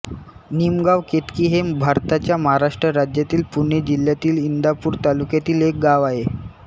निमगाव केतकी हे भारताच्या महाराष्ट्र राज्यातील पुणे जिल्ह्यातील इंदापूर तालुक्यातील एक गाव आहे